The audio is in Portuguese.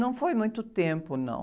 Não foi muito tempo, não.